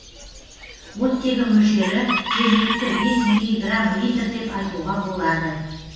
оттегі мөлшері жергілікті бес миллиграм литр деп айтуға болады